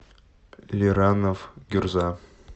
лиранов гюрза